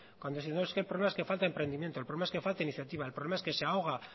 cuando décimos que el problema es que falta emprendimiento el problema es que falta iniciativa el problema es que se ahoga